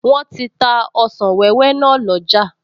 Wọ́n ti ta ọsàn wẹ́wẹ́ náà lọ́jà